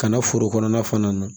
Kana foro kɔnɔna fana na